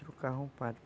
Trocavam o padre.